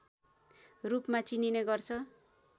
रूपमा चिनिने गर्छ